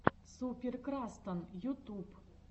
супер крастан ютуб